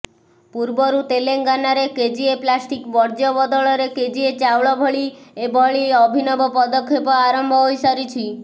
ପୂର୍ବରୁ ତେଲେଙ୍ଗାନାରେ କେଜିଏ ପ୍ଲାଷ୍ଟିକ ବର୍ଜ୍ୟ ବଦଳରେ କେଜିଏ ଚାଉଳ ଭଳି ଏଭଳି ଅଭିନବ ପଦକ୍ଷେପ ଆରମ୍ଭ ହୋଇିସାରିଛି